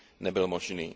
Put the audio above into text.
nebyl možný.